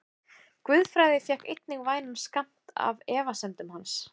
Guðfræði fékk einnig vænan skammt af efasemdum hans.